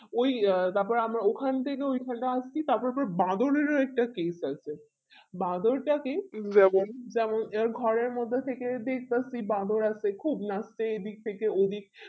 ওই তারপরে আমরা ওখান থেকে ওই খানে আসছি তার পরে আবার বাঁদরের ও একটা scenes আছে বাঁদরটাকে যেমন এই ঘরের মধ্যে থেকে দেখতেছি বাদর আর কি খুব নাচ্ছে এই দিক থেকে ওই দিক